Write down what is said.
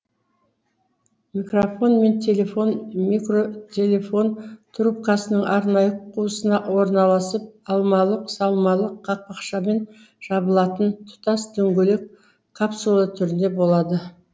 микрофон мен телефон микротелефон трубкасының арнайы қуысына орналасып алмалы салмалы қақпақшамен жабылатын тұтас дөңгелек капсула түрінде болады